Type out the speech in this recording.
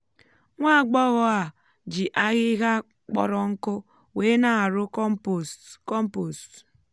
nwá agbọghọ a jị ahịhịa kpọrọ nkụ wee ná àrụ́ kọ́mpost. kọ́mpost.